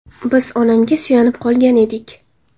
Biz onamga suyanib qolgan edik.